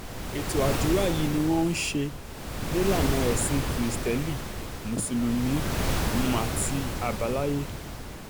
ètò àdúrà yìí ni wọ́n um ṣe nílànà ẹ̀sìn kirisítẹ́lì mùsùlùmí um àti àbáláyé